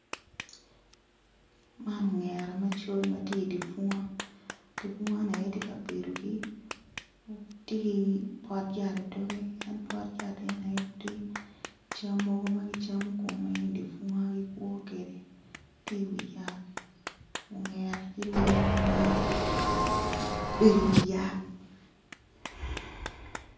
Man ongera macol ma ti i di bunga di bunga-ni aye tye kabedogi ti pot yat idogge en pot yat e ni aye ti cam mogo ma gicamo i di bunga ma gikwo kede ti i wi yat ongera ti lee ma maro bedi i wiyat